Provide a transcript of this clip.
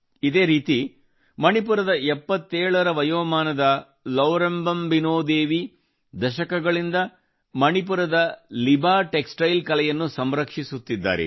ಇದೇ ರೀತಿ ಮಣಿಪುರದ 77 ರ ವಯೋಮಾನದ ಲೌರೆಂಬಮ್ ಬಿನೊದೇವಿ ದಶಕಗಳಿಂದ ಮಣಿಪುರದ ಲಿಬಾ ಟೆಕ್ಸಟೈಲ್ ಕಲೆಯನ್ನು ಸಂರಕ್ಷಿಸುತ್ತಿದ್ದಾರೆ